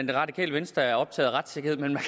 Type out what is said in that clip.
det radikale venstre er optaget af retssikkerhed men man